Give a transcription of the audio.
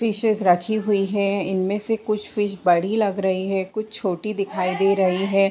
Fish रखी हुई हैं इनमें से कुछ फिश बड़ी लग रही हैं कुछ छोटी दिखाई दे रही हैं।